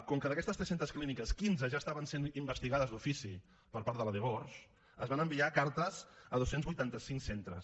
com que d’aquestes tres cents clíniques quinze ja estaven sent investigades d’ofici per part de la dgors es van enviar cartes a dos cents i vuitanta cinc centres